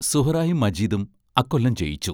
സുഹ്റായും മജീദും അക്കൊല്ലം ജയിച്ചു.